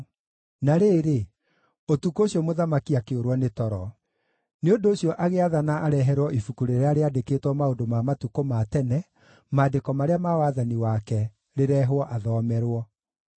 Na rĩrĩ, ũtukũ ũcio mũthamaki akĩũrwo nĩ toro; nĩ ũndũ ũcio agĩathana areherwo ibuku rĩrĩa rĩandĩkĩtwo maũndũ ma matukũ ma tene, maandĩko marĩa ma wathani wake, rĩrehwo athomerwo.